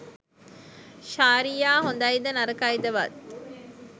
ශාරියා හොඳයිද නරකයිද වත්